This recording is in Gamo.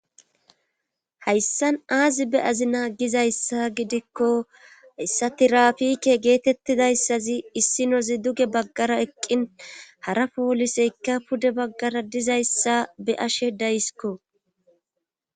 hayssan aazi be azi naa gizayssa gidikko issatirafike geetettidayssazi issinozi duge baggara eqqin hara pooliseykka pude baggara dizayssa be ashe dayisikko